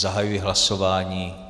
Zahajuji hlasování.